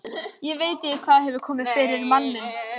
Ég veit ekki hvað hefur komið yfir manninn.